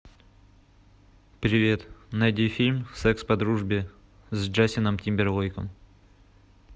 привет найди фильм секс по дружбе с джастином тимберлейком